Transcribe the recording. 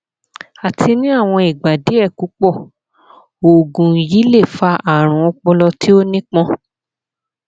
àti ni awọn igba diẹ pupọ oògùn yii le fa arun ọpọlọ ti o nipọn